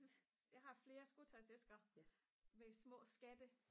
jeg har flere skotøjsæsker med små skatte